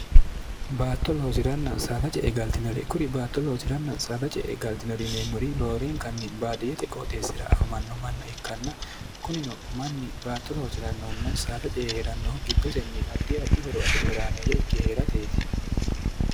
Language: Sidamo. baatto loosi'ranna saada ce e galtinore kuri baatto loosi'ranna saada ce e galtinorineemmuri looreenkanni baadiyete qooxeessira afamanno manna ikkanna kunino manni baatto loosi'rannohunna saada ce e hee'rannohu giddosenni addi adi horo afi're huraameeyya ikke hee'rateeti